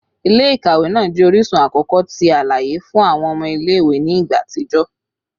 Ile-ikawe naa jẹ orisun akọkọ ti alaye fun awọn ọmọ ile-iwe ni igba atijọ